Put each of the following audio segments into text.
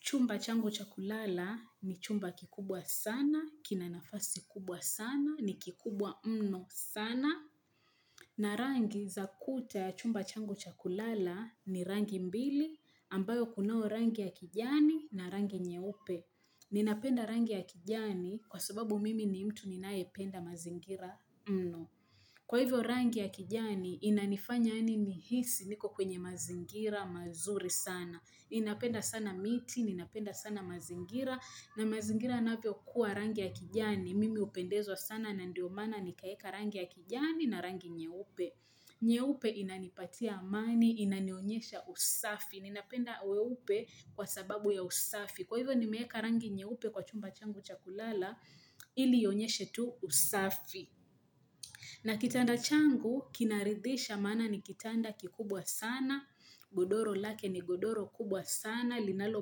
Chumba changu chakulala ni chumba kikubwa sana, kina nafasi kubwa sana, ni kikubwa mno sana. Na rangi za kuta ya chumba changu chakulala ni rangi mbili ambayo kunao rangi ya kijani na rangi nyeupe. Ninapenda rangi ya kijani kwa sababu mimi ni mtu ninae penda mazingira mno. Kwa hivyo rangi ya kijani inanifanya nihisi niko kwenye mazingira mazuri sana. Ninapenda sana miti, ninapenda sana mazingira, na mazingira yanavyo kuwa rangi ya kijani. Mimi upendezwa sana na ndio maana nikaweka rangi ya kijani na rangi nyeupe. Nyeupe inanipatia amani, inanionyesha usafi. Ninapenda weupe kwa sababu ya usafi. Kwa hivyo nimeweka rangi nyeupe kwa chumba changu cha kulala, ili ionyeshe tu usafi. Na kitanda changu, kinaridhisha mana ni kitanda kikubwa sana, godoro lake ni godoro kubwa sana, linalo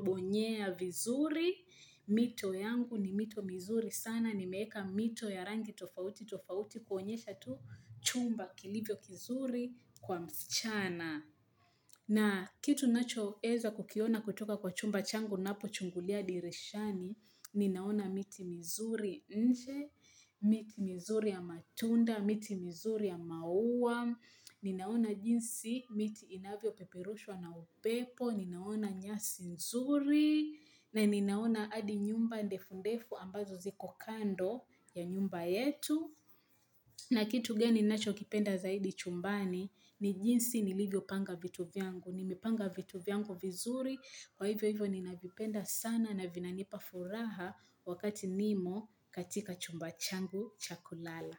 bonyea vizuri, mito yangu ni mito mizuri sana, ni meweka mito ya rangi tofauti, tofauti kuonyesha tu chumba kilivyo kizuri kwa msichana. Na kitu nacho weza kukiona kutoka kwa chumba changu ninapo chungulia dirishani, ninaona miti mizuri nje, miti mizuri ya matunda, miti mizuri ya maua, ninaona jinsi miti inavyo peperushwa na upepo, ninaona nyasi nzuri, na ninaona adi nyumba ndefundefu ambazo ziko kando ya nyumba yetu. Na kitu geni nacho kipenda zaidi chumbani, ni jinsi nilivyo panga vitu vyangu, nimipanga vitu vyangu vizuri, kwa hivyo hivyo ni navipenda sana na vinanipa furaha wakati nimo katika chumba changu cha kulala.